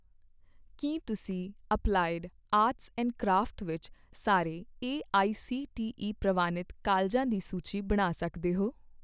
ਕੀ ਤੁਸੀਂ applied arts and crafts ਵਿੱਚ ਸਾਰੇ ਏਆਈਸੀਟੀਈ ਪ੍ਰਵਾਨਿਤ ਕਾਲਜਾਂ ਦੀ ਸੂਚੀ ਬਣਾ ਸਕਦੇ ਹੋ